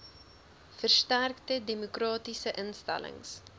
versterkte demokratiese instellings